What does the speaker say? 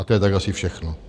A to je tak asi všechno.